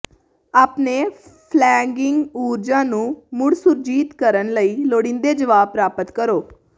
ਆਪਣੇ ਫਲੈਗਿੰਗ ਊਰਜਾ ਨੂੰ ਮੁੜ ਸੁਰਜੀਤ ਕਰਨ ਲਈ ਲੋੜੀਂਦੇ ਜਵਾਬ ਪ੍ਰਾਪਤ ਕਰੋ